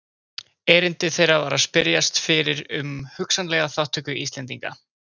Erindi þeirra var að spyrjast fyrir um hugsanlega þátttöku Íslendinga.